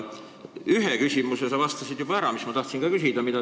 Ühe küsimuse sa vastasid juba ära, mida ma tahtsin ka küsida.